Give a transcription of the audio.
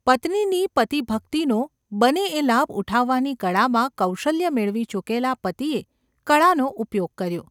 ’ પત્નીની પતિભક્તિનો બને એ લાભ ઉઠાવવાની કળામાં કૌશલ્ય મેળવી ચૂકેલા પતિએ કળાનો ઉપયોગ કર્યો.